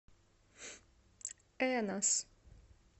энос